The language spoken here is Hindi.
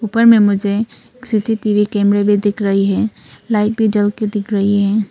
ऊपर में मुझे सी_सी_टी_वी कैमरे भी दिख रही है लाइट भी जल के दिख रही है।